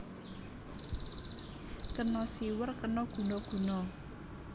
Kena siwer kena guna guna